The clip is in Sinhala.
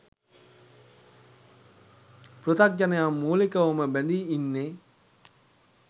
පෘථග්ජනයන් මූලිකවම බැඳී ඉන්නේ